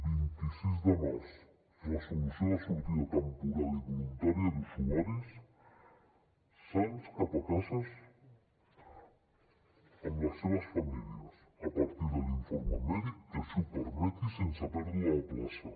vint sis de març resolució de sortida temporal i voluntària d’usuaris sans cap a casa amb les seves famílies a partir de l’informe mèdic que així ho permeti i sense pèrdua de la plaça